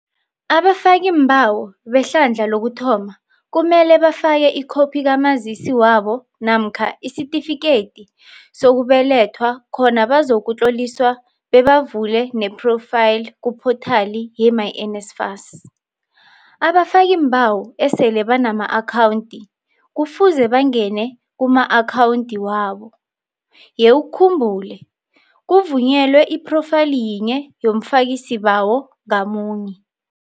Abafakiimbawo behlandla lokuthoma kumele bafake ikhophi kaMazisi wabo namkha isitifikedi sokubelethwa khona bazakutloliswa bebavule nephrofayili kuphothali yemyNSFAS . Abafakiimbawo esele banama-akhawundi kufuze bangene kuma-akhawundi wabo, yewukhumbule, kuvunyelwe iphrofayili yinye yomfakisibawo ngamunye.